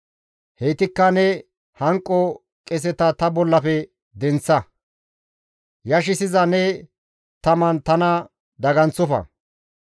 Heytikka ne hanqo qeseta ta bollafe denththa; yashissiza ne taman tana daganththofa.